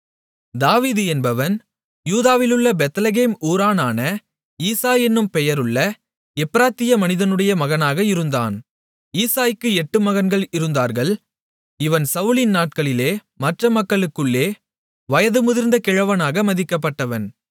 தாவீது என்பவன் யூதாவிலுள்ள பெத்லெகேம் ஊரானான ஈசாய் என்னும் பெயருள்ள எப்பிராத்திய மனிதனுடைய மகனாக இருந்தான் ஈசாய்க்கு எட்டு மகன்கள் இருந்தார்கள் இவன் சவுலின் நாட்களிலே மற்ற மக்களுக்குள்ளே வயது முதிர்ந்த கிழவனாக மதிக்கப்பட்டான்